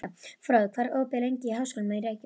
Fróði, hvað er opið lengi í Háskólanum í Reykjavík?